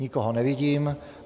Nikoho nevidím.